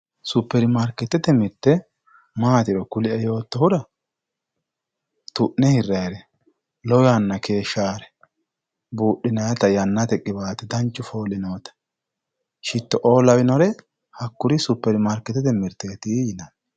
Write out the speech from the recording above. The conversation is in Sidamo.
superimarikeettete mirte maatiro kulie yoottohura tu'ne hirayire lowo yanna keeshshaare buudhinayta yannate qiwaate danchu fooli noota sjittoo lawinore hakkuri superimarikeetete mirteeti yinanni